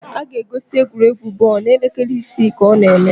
A ga-egosi egwuregwu bọọlụ n'elekere isii ka ọ na eme